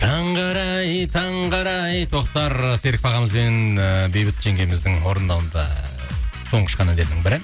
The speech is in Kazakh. таңғы арай таңғы арай тоқтар серіков ағамыз бен ыыы бейбіт жеңгеміздің орындауында соңғы шыққан әндердің бірі